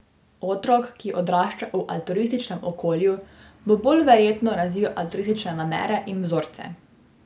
Otrok, ki odrašča v altruističnem okolju, bo bolj verjetno razvil altruistične namere in vzorce.